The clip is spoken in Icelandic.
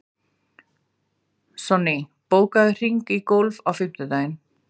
Sonný, bókaðu hring í golf á fimmtudaginn.